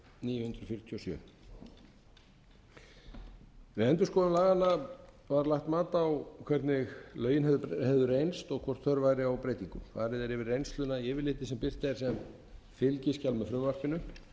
fjörutíu og sjö við endurskoðun laganna var lagt mat á hvernig lögin hefðu reynst og hvort þörf væri á breytingum farið er yfir reynsluna í yfirliti sem birt er sem fylgiskjal með frumvarpinu